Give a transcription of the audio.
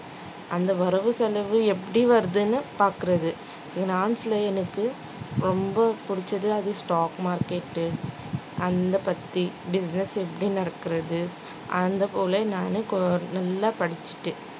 அந்த வரவு செலவு எப்படி வருதுன்னு பாக்கறது finance ல எனக்கு ரொம்ப பிடிச்சது அது stock market உ அந்த பத்தி business எப்படி நடக்கறது அதைப் போல நானும் கொ~ நல்லா படிச்சுட்டு